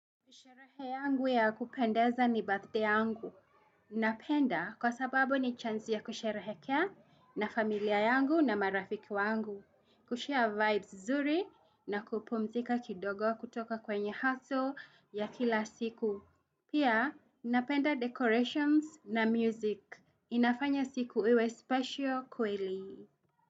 Sherehe yangu ya kupendeza ni birthday yangu. Napenda kwa sababu ni chance ya kusherehekea na familia yangu na marafiki wangu. Kushare vibes nzuri na kupumzika kidogo kutoka kwenye hustle ya kila siku. Pia napenda decorations na music. Inafanya siku iwe special kweli.